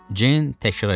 Ceyn təkrar elədi.